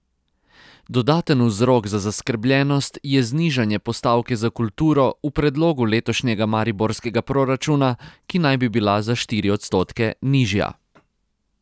Dodaten vzrok za zaskrbljenost je znižanje postavke za kulturo v predlogu letošnjega mariborskega proračuna, ki naj bi bila za štiri odstotke nižja.